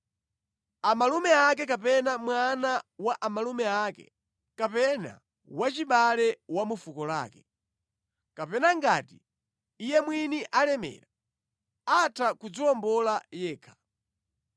amalume ake kapena mwana wa amalume ake, kapena wachibale wa mu fuko lake. Kapena ngati iye mwini alemera, atha kudziwombola yekha.